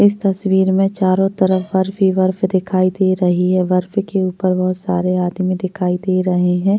इस तस्वीर में चारो तरफ बर्फ ही बर्फ दिखाई दे रही है बर्फ के उपर बहुत सारे आदमी दिखाई दे रहे है।